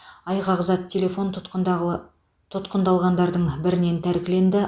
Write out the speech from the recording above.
айғақ зат телефон тұтқындағы тұтқындалғандардың бірінен тәркіленді